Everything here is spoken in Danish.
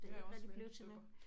Jeg er også vinterdypper